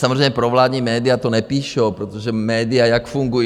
Samozřejmě provládní média to nepíšou, protože média - jak fungují?